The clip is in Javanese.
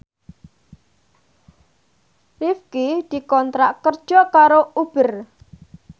Rifqi dikontrak kerja karo Uber